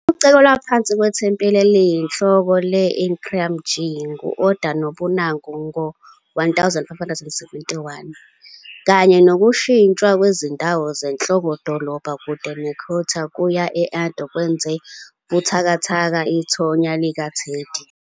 Ukucekelwa phansi kwethempeli eliyinhloko le- Enryaku-ji ngu- Oda Nobunaga ngo-1571, kanye nokushintshwa kwezindawo zenhloko-dolobha kude ne- Kyoto kuya e- Edo, kwenze buthakathaka ithonya likaTendai.